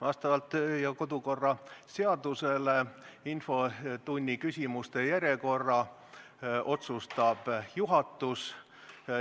Vastavalt meie kodu- ja töökorra seadusele otsustab infotunni küsimuste järjekorra juhatus.